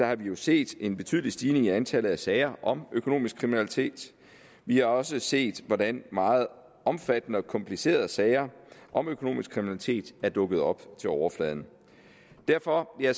har vi jo set en betydelig stigning i antallet af sager om økonomisk kriminalitet vi har også set hvordan meget omfattende og komplicerede sager om økonomisk kriminalitet er dukket op til overfladen derfor har